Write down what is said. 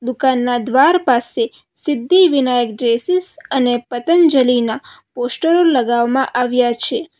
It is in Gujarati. દુકાનના દ્વાર પાસે સિદ્ધિવિનાયક ડ્રેસીસ અને પતંજલિના પોસ્ટરો લગાવામાં આવ્યા છે.